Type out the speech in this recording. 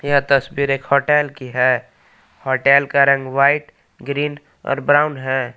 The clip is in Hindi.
यह तस्वीर एक होटल की है होटल का रंग व्हाइट ग्रीन और ब्राउन है।